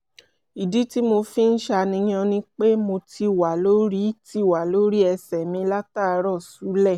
ìdí tí mo fi ń ṣàníyàn ni pé mo ti wà lórí ti wà lórí ẹsẹ̀ mi látàárọ̀ ṣúlẹ̀